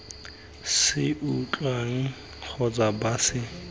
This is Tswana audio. se utlwang kgotsa ba se